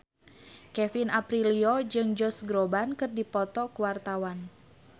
Kevin Aprilio jeung Josh Groban keur dipoto ku wartawan